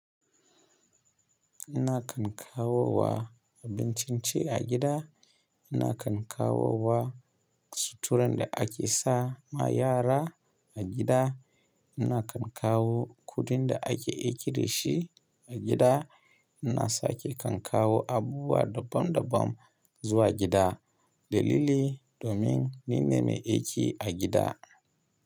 Ina kan kawo wa abincin ci a gida, ina kan kawo wa suturar da ake sa ma yara a gida, ina kan kawo kuɗin da ake aiki da shi a gida, ina sake kan kawo abubuwa daban daban zuwa gida dalili domin ni ne mai aiki a gida.